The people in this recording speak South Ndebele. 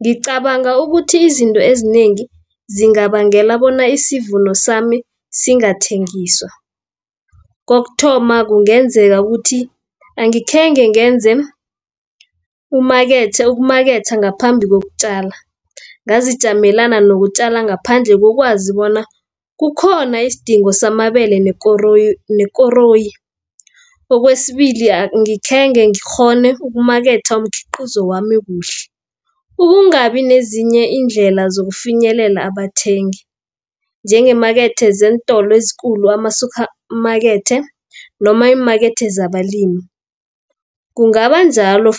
Ngicabanga ukuthi izinto ezinengi zingabangela bona isivuno sami singathengiswa, kokuthoma kungenzeka ukuthi angikhenge ngenze ukumaketha ngaphambi kokutjala. Ngazijamelana nokutjala ngaphandle kokwazi bona kukhona isidingo samabele nekoroyi. Kwesibili khenge ngikghone ukumaketha umkhiqizo wami kuhle, ukungabi nezinye iindlela zokufinyelela abathengi, njengeemakethe zeentolo ezikulu, amasuphamakethe, noma iimakethe zabalimi. Kungaba njalo